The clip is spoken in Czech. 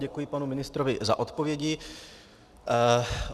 Děkuji panu ministrovi za odpovědi.